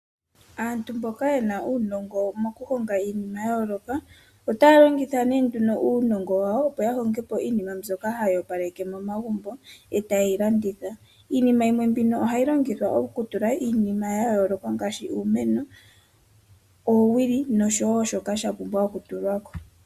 Aantu mboka ye na uunongo wokuhonga iinima ya yooloka otaya longitha nduno uunongo wawo, opo ya honge po iinima mbyoka hayi opaleke momagumbo e tayi ye yi landitha. Iinima mbino ohayi longithwa okutulwa iinima ya yooloka ngaashi uumeno, oowili noshowo shoka sha pumbwa okutulwa ko.